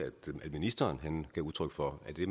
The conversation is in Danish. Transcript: ministeren gav udtryk for at det